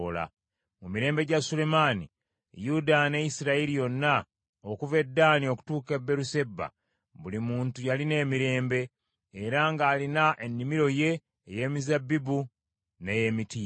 Mu mirembe gya Sulemaani, Yuda ne Isirayiri yonna, okuva e Ddaani okutuuka e Beeruseba buli muntu yalina emirembe, era ng’alina ennimiro ye ey’emizabbibu n’ey’emitiini.